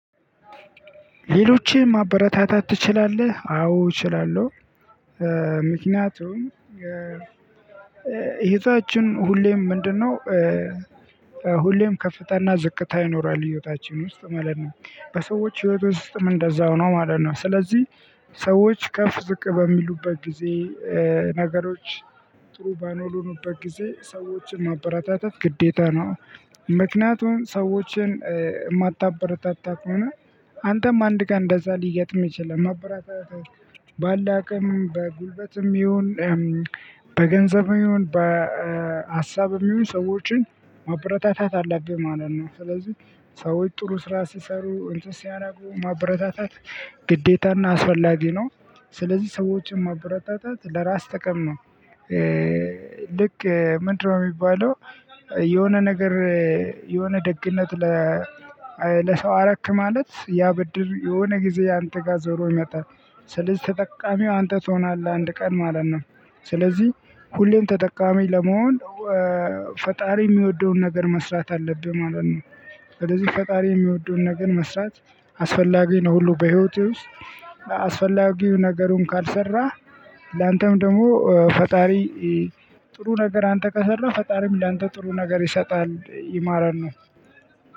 ሌሎችብ ማበረታታት ትችላለህ አዎ እችላለሁ። ምክንያቱም ህይወታችን ሁሌም ምንድነው? ሁሌም ከፍታና ዝቅታ ይኖራል ህይወታችን ውስጥ ማለት ነው። በሰዎች ህይወት ውስጥም እንደዛው ነው ማለት ነው። ስለዚህ ሰዎች ከፍ ዝቅ በሚሉበት ጊዜ ነገሮች ጥሩ ባልሆነበት ጊዜ ሰዎችን ማበረታታት ግዴታ ነው። ምክንያቱም ሰዎችን የማታበረታታ ከሆነ አንተም አንድ ቀን እንደዛ ሊገጥምህ ይችላል። ማበረታታት ባለህ አቅም በጉልበትም ይሁን በገንዘብም ይሁን በሀሳብም ይሁን ስዎችን ማበረታታት አለብህ ማለት ነው። ስለዚህ ጥሩ ስራ ሲሰሩ እንትን ሲያደርጉ ማበረታታት ግዴታ እና አስፈላጊ ነው። ስለዚህ ሰዎችን ማበረታታት ለራስ ጥቅም ነው። ልክ ምንድነው የሚባለው? የሆነ ነገር የሆነ ደግነት ለ ለሰው አረክ ማለት ያ ብድር የሆነ ጊዜ አንተ ጋር ዞሮ ይመጣል። ስለዚህ ተጠቃሚው አንተ ትሆናለህ አንድ ቀን ማለት ነው። ስለዚህ ሁሌም ተጠቃሚ ለመሆን ፈጣሪ የሚወደውን ነገር መስራት አለብህ ማለት ነው። ስለዚህ ፈጣሪ የሚወዱን ነገር መስራት አስፈላጊ ነው። ሁሉ በህይወቴ ውስጥ አስፈላጊው ነገሩን ካልሰራህ ላንተም ደግሞ ፈጣሪ ጥሩ ነገር አንተ ከሰራህ ፈጣሪም ላንተ ጥሩ ነገር ይሰጥሀል ማለት ነው።